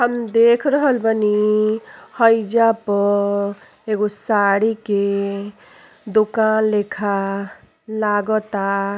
हम देख रहल बानी हइजा पे एगो साड़ी के दुकान लेखा लागता।